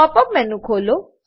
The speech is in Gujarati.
પોપ અપ મેનુ ખોલો